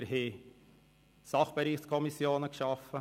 Wir haben Sachbereichskommissionen geschaffen.